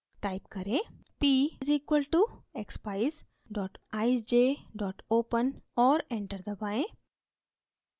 type करें: p = expeyes eyesj open और enter दबाएँ